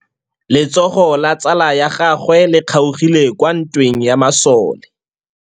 Letsôgô la tsala ya gagwe le kgaogile kwa ntweng ya masole.